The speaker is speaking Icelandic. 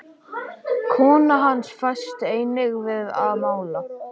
Kona hans fæst einnig við að mála.